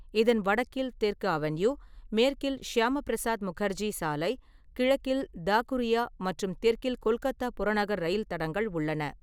இதன் வடக்கில் தெற்கு அவென்யூ, மேற்கில் ஷியாமபிரசாத் முகர்ஜி சாலை, கிழக்கில் தாகுரியா மற்றும் தெற்கில் கொல்கத்தா புறநகர் ரயில் தடங்கள் உள்ளன.